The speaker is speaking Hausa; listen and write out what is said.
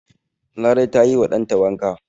Larai ta yi wa dan ta wanka.